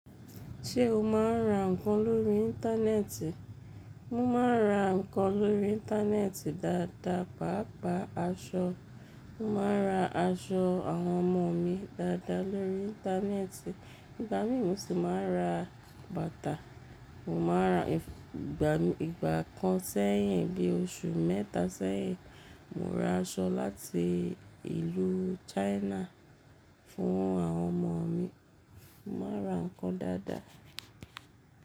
Ṣé o máa ń ra ǹkan lórí Íńtánẹ́ẹ̀tì? Mo máa ń ra ǹkan lórí Íńtánẹ́ẹ̀tì dáadáa, pàápàá aṣọ. Mo máa ra aṣọ àwọn ọmọ mi dáadáa lórí Íńtánẹ́ẹ̀tì, ìgbà mí mu sì máa ra bàtà. Mo máa ra ìgbà kan sẹ́yìn, bí i oṣù mẹ́ta sẹ́yìn, mo ra aṣọ láti ìlú China fún àwọn ọmọ mi. Mo máa ra ǹkan dáadáa.